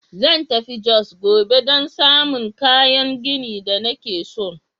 Zan tafi Jos gobe don samun kayan gini da nake son.